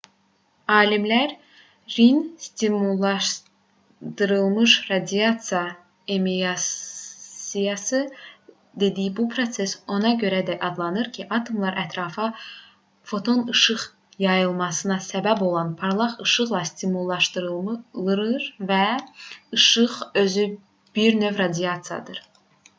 alimlərin stimullaşdırılmış radiasiya emissiyası dediyi bu proses ona görə belə adlanır ki atomlar ətrafa foton işıq yayılmasına səbəb olan parlaq işıqla stimullaşdırılır və işıq özü bir növ radiasiyadır